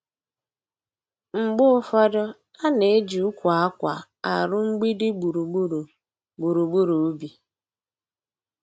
Mgbe ụfọdụ, a na-eji ụkwụ akwa arụ mgbidi gburugburu gburugburu ubi.